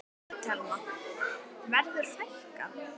Telma: Verður fækkað?